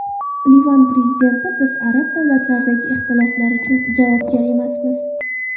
Livan prezidenti: Biz arab davlatlaridagi ixtiloflar uchun javobgar emasmiz.